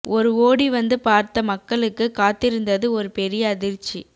ஒரு ஓடி வந்து பார்த்த மக்களுக்கு காத்திருந்தது ஒரு பெரிய அதிர்ச்சி